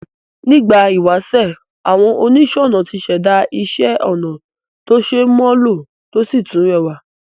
Nígbà ìwásè, àwon onísònà tí sèda isé onà to se mó lò to si tún rewà